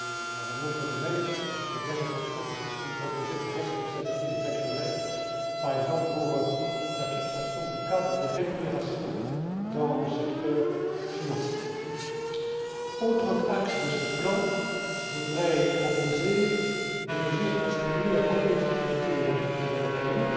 Dans un autre domaine, j'ai bien l'intention de vous proposer de responsabiliser les actionnaires, par exemple pour la fixation du cadre des rémunérations dans le secteur financier. Autre axe de ce plan je voudrais proposer des mesures pour stimuler la compétitivité des entreprises européennes.